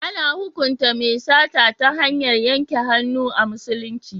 A na hukunta mai sata ta hanyar yanke hannu a musulunci.